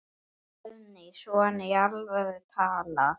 Guðný: Svona í alvöru talað?